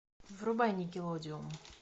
врубай никелодеон